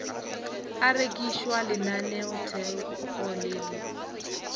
a rekišwa lenaneotheko le le